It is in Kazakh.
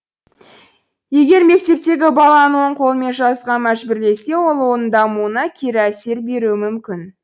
егер мектептегі баланы оң қолымен жазуға мәжбүрлесе ол оның дамуына кері әсер беруі мүмкін